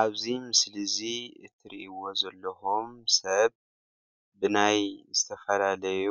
አብዚ ምስሊ እዚ ትሪእይዎ ዘለኩም ሰብ ብናይ ዝተፋላለዩ